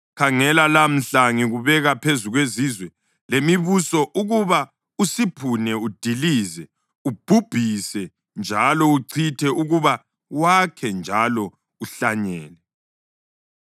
Khangela, lamhla ngikubeka phezu kwezizwe lemibuso ukuba usiphune udilize, ubhubhise njalo uchithe; ukuba wakhe njalo uhlanyele.”